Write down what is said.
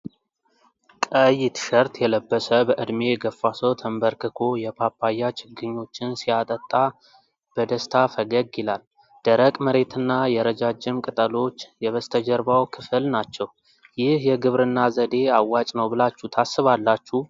ቀይ ቲሸርት የለበሰ፣ በዕድሜ የገፋ ሰው፣ ተንበርክኮ የፓፓያ ችግኞችን ሲያጠጣ በደስታ ፈገግ ይላል። ደረቅ መሬትና የረጃጅም ቅጠሎች የበስተጀርባው ክፍል ናቸው። ይህ የግብርና ዘዴ አዋጭ ነው ብላችሁ ታስባላችሁ?